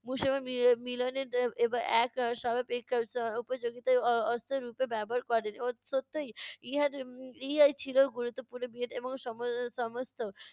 মুসলমান মি~ মিলনের এর এবার এক সর্বাপেক্ষা এর উপযোগিতার অ~ অস্ত্র রুপে ব্যবহার করেন। সত্যই ইহার উম ইহাই ছিলো গুরুত্বপূর্ণ ভীত এবং সমস্ত